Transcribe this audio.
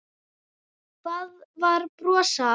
Það var brosað.